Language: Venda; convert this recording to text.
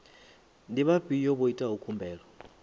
ndi vhafhio vha itaho khumbelo